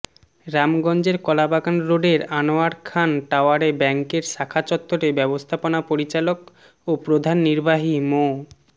রামগঞ্জের কলাবাগান রোডের আনোয়ার খান টাওয়ারে ব্যাংকের শাখা চত্বরে ব্যবস্থাপনা পরিচালক ও প্রধান নির্বাহী মো